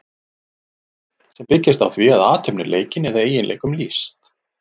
sem byggjast á því að athöfn er leikin eða eiginleikum lýst